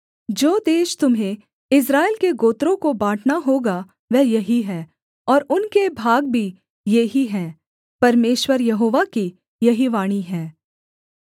जो देश तुम्हें इस्राएल के गोत्रों को बाँटना होगा वह यही है और उनके भाग भी ये ही हैं परमेश्वर यहोवा की यही वाणी है